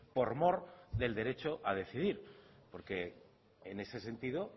por mor del derecho a decidir porque en ese sentido